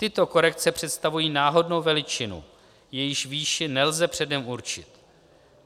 Tyto korekce představují náhodnou veličinu, jejíž výši nelze předem určit.